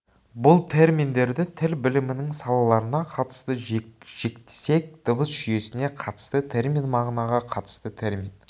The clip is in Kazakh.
бұл терминдерді тіл білімінің салаларына қатысты жіктесек дыбыс жүйесіне қатысты термин мағынаға қатысты термин